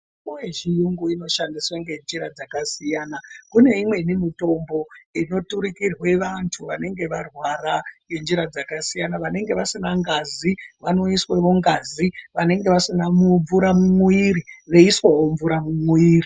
Mitombo dzechiyungu inoshandiswa ngenjira dzakasiyana kune imweni mitombo inoturikirwe vantu vanenge varwara ngenjira dzakasiya vanonga vasina ngazi vanoisirwa ngazi vanenge vasina mvura mumwiiri voisirwawo mvura mumwiiri.